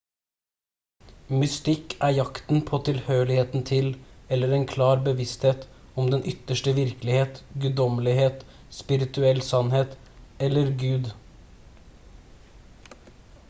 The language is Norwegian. mystikk er jakten på tilhørigheten til eller en klar bevissthet om den ytterste virkelighet guddommelighet spirituell sannhet eller gud